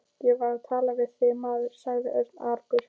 Ég var að tala við þig, maður sagði Örn argur.